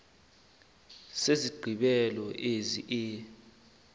nesigqibelo esingu e